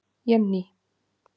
Jenný